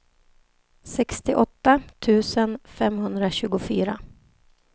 sextioåtta tusen femhundratjugofyra